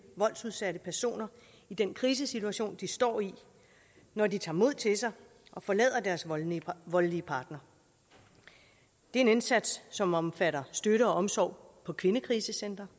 voldsudsatte personer i den krisesituation de står i når de tager mod til sig og forlader deres voldelige voldelige partner det er en indsats som omfatter støtte og omsorg på kvindekrisecentre